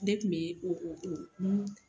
Ne tun bɛ o